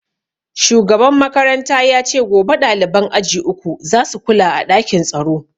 Shugaban makaranta ya ce gobe ɗaliban aji uku za su kula a ɗakin tsaro